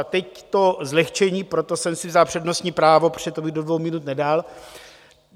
A teď to zlehčení, proto jsem si vzal přednostní právo, protože to bych do dvou minut nedal.